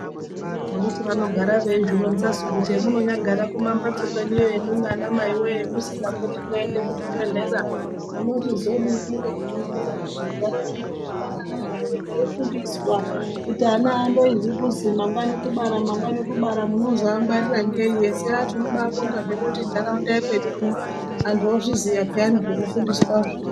Anditi vanogara vechizvironzatu , kuti hemunyambogara kumambatso kwenyuyo imwimwi anamayi woye musinga poti mweienda kuzvibhehleya munochizodini ngekuti zvinode kuti mugare mweifundiswa kuti ana andoizwi kuti mangwani kubara mangwani kubara, munozoangwarira neyi ese aah tinobaabonga hedu kuti nharaunda yekwedu uno anhu ozviziya peya zvekufundiswazvo.